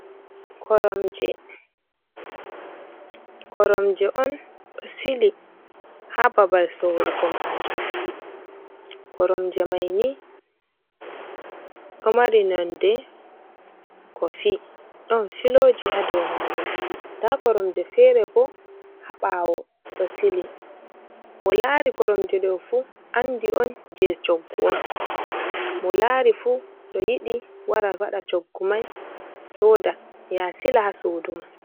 Koromje, koromje on ɗo sili ha babal sorugo majum, koromje mai ni ɗo mari nonde kofi ɗon filoji ha dou majum, nda koromje fere bo ha ɓawo ɗo sili mo lari koromje ɗo fu andi on je coggu on, mo lari fu to yiɗi wara waɗa coggu mai soda ya sila ha sudu ma.